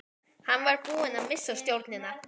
Hann var búinn að missa stjórnina.